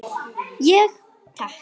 Ég: Takk.